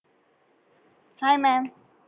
hi maam